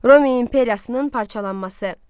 Roma imperiyasının parçalanması.